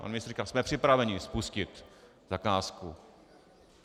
Pan ministr říká: jsme připraveni spustit zakázku.